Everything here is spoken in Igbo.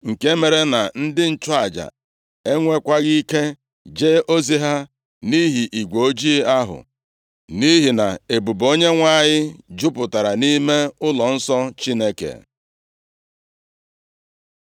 nke mere na ndị nchụaja enwekwaghị ike jee ozi ha, nʼihi igwe ojii ahụ, nʼihi na ebube Onyenwe anyị jupụtara nʼime ụlọnsọ Chineke.